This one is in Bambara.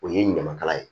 O ye ɲamakala ye